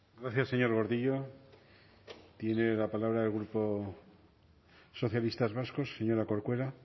gracias señor gordillo tiene la palabra el grupo socialistas vascos señora corcuera